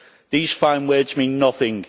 These fine words mean nothing.